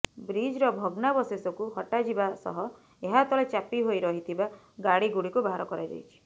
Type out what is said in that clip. ବ୍ରିଜ୍ର ଭଗ୍ନାବଶେଷକୁ ହଟାଯିବା ସହ ଏହା ତଳେ ଚାପି ହୋଇ ରହିଥିବା ଗାଡ଼ିଗୁଡିକୁ ବାହାର କରାଯାଇଛି